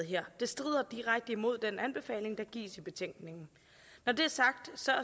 her det strider direkte imod den anbefaling der gives i betænkningen når det er sagt